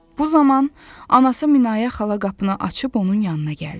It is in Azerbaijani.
Bu zaman anası Minayə xala qapını açıb onun yanına gəldi.